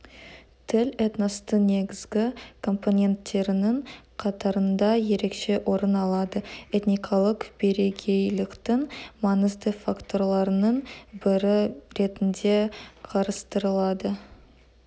тіл этностың негізгі компоненттерінің қатарында ерекше орын алады этникалық бірегейліктің маңызды факторларының бірі ретінде қарастырылады